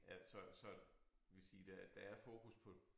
At så så vil sige der der er fokus på